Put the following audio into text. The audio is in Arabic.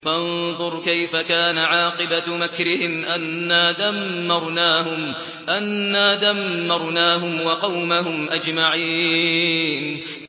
فَانظُرْ كَيْفَ كَانَ عَاقِبَةُ مَكْرِهِمْ أَنَّا دَمَّرْنَاهُمْ وَقَوْمَهُمْ أَجْمَعِينَ